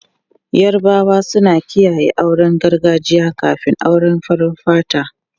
Yarabawa suna kiyaye auren gargajiya kafin auren farar fata.